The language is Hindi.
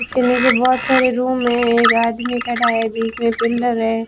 उसके नीचे बहोत सारे रूम है एक आदमी खड़ा है बीच मे पिलर है।